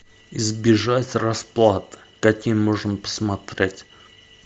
ы